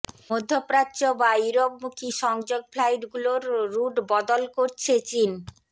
মধ্যপ্রাচ্য বা ইউরোপমুখী সংযোগ ফ্লাইটগুলোরও রুট বদল করছে চীন